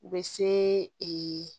U bɛ se ee